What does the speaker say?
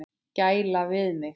Gæla við mig.